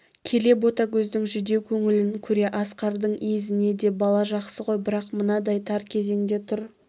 келе ботагөздің жүдеу көңілін көре асқардың езіне де бала жақсы ғой бірақ мынадай тар кезеңде тұр